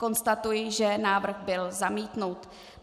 Konstatuji, že návrh byl zamítnut.